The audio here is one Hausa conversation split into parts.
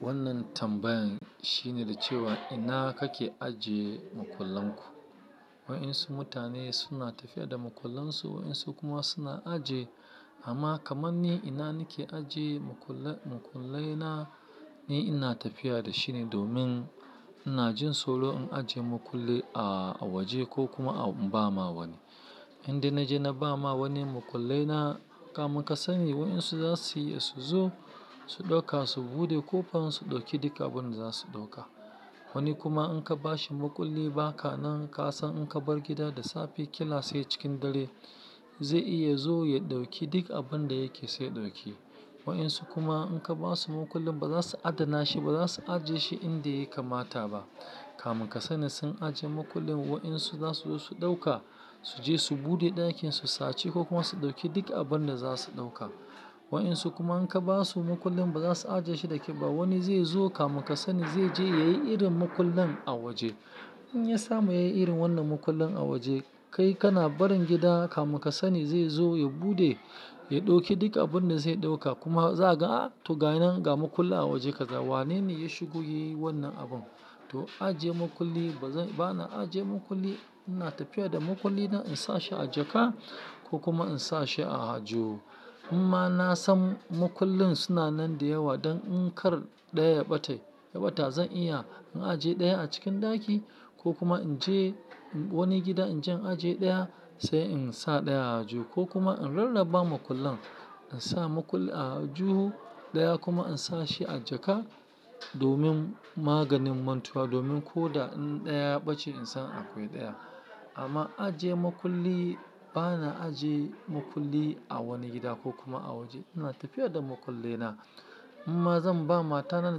Wannan tambayan shine da cewa, ina kake ajiye makullan ku? Wa'insu mutane suna tafiya da makullansu, wa'insu kuma suna ajiye. Amma kamar ni, ina nake ajiye makullai na, ni ina tafiya da shi ne domin, ina jin tsoro in ajiye makulli a waje ko kuma in ba ma wani. Indai na je na ba ma wani makullai na, kamun ka sani wa'insu za su iya su zo, su ɗauka, su bude kofan, su ɗauki duk abin da za su ɗauka. Wani kuma in ka ba shi muƙulli ba ka nan, ka san in ka bar gida da safe, kila se cikin dare, zai iya zo ya ɗauki duk abin da yake so ya ɗauki. Wa'insu kuma in ka ba su makullin ba za su adana shi ba, za su ajiye shi inda ya kamata ba. Kamu ka sani sun ajiye makullin, wa'insu za su zo su ɗauka, su je su buɗe ɗakin su saci ko kuma su ɗauki duk abin da za su ɗauka. Wa'insu kuma in ka ba su makullin ba za su ajiye shi da ke ba. Wani zai zo kafin ka sani zai je ya yi irin mukullin a waje. In ya samu ya yi irin wannan mukullin a waje, kai kana barin gida kafin ka sani zai zo ya buɗe, ya ɗauki duk abin da zai ɗauka kuma za ka ga a'a toh ga shinan ga makulli a waje ka ga wane ne ya shigo ya yi wannan abun. Toh, ajiye makulli ba na ajiye makulli. Ina tafiya da makulli na in sa shi a jaka ko kuma in sa shi a aljihu. Inma na san mukullin suna nan da yawa don in kar ɗaya ya ɓata zan iya in ajiye ɗaya a cikin ɗaki ko kuma in je wani gida in je in ajiye ɗaya sai in sa ɗaya a aljihu ko kuma in rarraba makullan. In sa makulli a juhu ɗaya kuma in sa shi a jaka domin maganin mantuwa, domin ko da in ɗaya ya ɓace in san akwai ɗaya. Amma ajiye makulli, ba na ajiye makulli a wani gida ko kuma a waje. Ina tafiya da makullai na. Inma zan ba matana,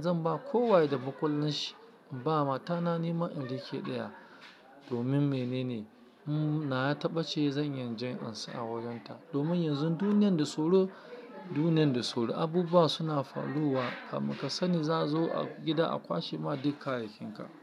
zan ba kowa da mukullin shi. In ba matana nima in riƙe ɗaya domin menene? Nawa ta ɓace zan inya in je in amsa a wajen ta. Domin yanzu duniyar da tsoro duniyar da tsoro. Abubuwa suna faruwa kafin ka sani za a zo gida a kwashe ma duka kayayyakin ka.